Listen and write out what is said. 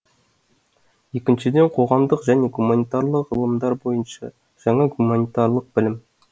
екіншіден қоғамдық және гуманитарлық ғылымдар бойынша жаңа гуманитарлық білім